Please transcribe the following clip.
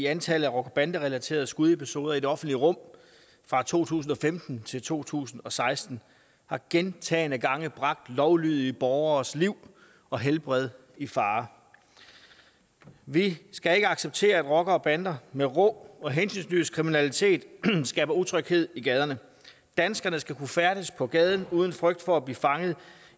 antallet af rocker bande relaterede skudepisoder i det offentlige rum fra to tusind og femten til to tusind og seksten har gentagne gange bragt lovlydige borgeres liv og helbred i fare vi skal ikke acceptere at rockere og bander med rå og hensynsløs kriminalitet skaber utryghed i gaderne danskerne skal kunne færdes på gaden uden frygt for blive fanget